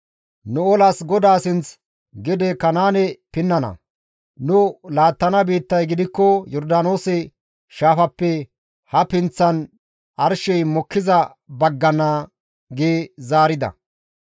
Nu olas GODAA sinth gede Kanaane pinnana; nu laattana biittay gidikko Yordaanoose shaafappe ha pinththan arshey mokkiza baggana» gi zaarida.